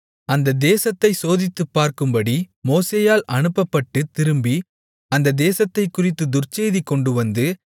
அந்தத் தேசத்தைச் சோதித்துப் பார்க்கும்படி மோசேயால் அனுப்பப்பட்டுத் திரும்பி அந்தத் தேசத்தைக்குறித்துத் துர்ச்செய்தி கொண்டுவந்து